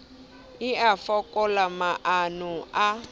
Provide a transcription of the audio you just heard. e a fokola maano a